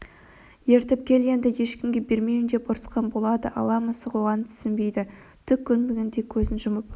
ертіп кел енді ешкімге бермеймін деп ұрысқан болады ала мысық оған түсінбейді түк көрмегендей көзін жұмып